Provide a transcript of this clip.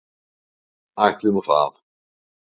Ætli nú það.